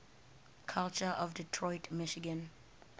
culture of detroit michigan